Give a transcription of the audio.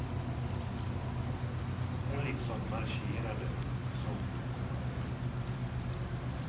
Hon liksom marscherade, som på kommando.